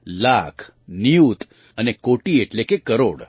લાખ નિયુત અને કોટિ એટલે કે કરોડ